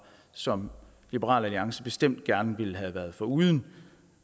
som liberal alliance bestemt gerne ville have været foruden